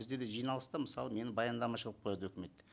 бізде де жиналыста мысалы мені баяндамашы қылып қояды өкімет